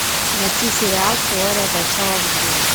найти сериал теория большого взрыва